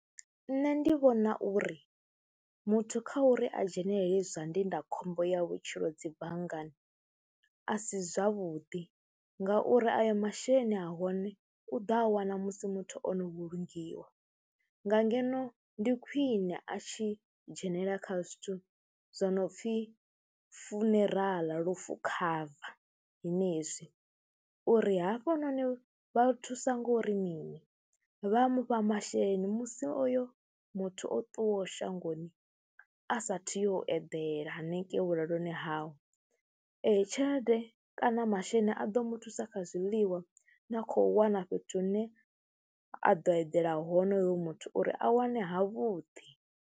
Nṋe ndi vhona uri muthu kha uri a dzhenelele zwa ndindakhombo ya vhutshilo dzi banngani a si zwavhuḓi ngauri ayo masheleni a hone u ḓo a wana musi muthu o no vhulungiwa. Nga ngeno ndi khwine a tshi dzhenelela kha zwithu zwo no pfhi funeral lufu cover zwenezwi uri hafhononi vha thusa ngo uri mini, vha mu fha masheleni musi oyo muthu o ṱuwaho shangoni a saathu uyo u edela hanengei vhulaloni hawe. Eyi tshelede kana masheleni a ḓo mu thusa kha zwiḽiwa na khou wana fhethu hune a ḓo eḓela hone hoyo muthu uri a wane havhuḓi.